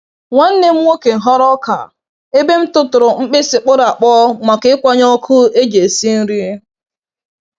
Nwanne m nwoke ghọrọ oka ebe m tụtụrụ mkpịsị kpọrọ akpọ maka ịkwanye ọkụ eji esi nri.